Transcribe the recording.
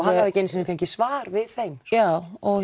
hafði ekki einu sinni fengið svar við þeim já